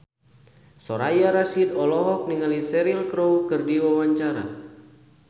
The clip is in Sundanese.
Soraya Rasyid olohok ningali Cheryl Crow keur diwawancara